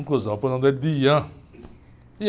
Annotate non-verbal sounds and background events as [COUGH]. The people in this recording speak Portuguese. Conclusão, pus o nome dele de. [UNINTELLIGIBLE]